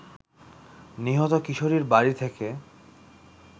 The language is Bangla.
নিহত কিশোরীর বাড়ি থেকে